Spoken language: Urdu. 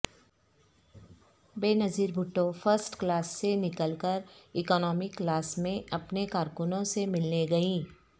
بینظیر بھٹو فرسٹ کلاس سے نکل کر اکنامی کلاس میں اپنے کارکنوں سے ملنے گئیں